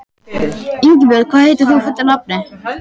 Ingibjörn, hvað heitir þú fullu nafni?